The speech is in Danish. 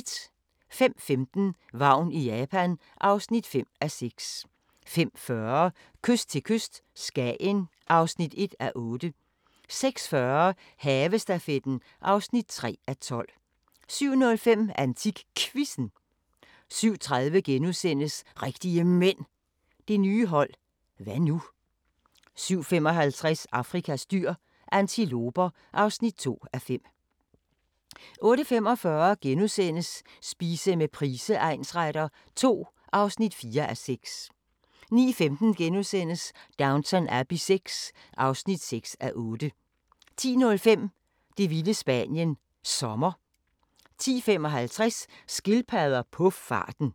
05:15: Vagn i Japan (5:6) 05:40: Kyst til kyst - Skagen (1:8) 06:40: Havestafetten (3:12) 07:05: AntikQuizzen 07:30: Rigtige Mænd – det nye hold – hva' nu? * 07:55: Afrikas dyr – antiloper (2:5) 08:45: Spise med Price egnsretter II (4:6)* 09:15: Downton Abbey VI (6:8)* 10:05: Det vilde Spanien – Sommer 10:55: Skildpadder på farten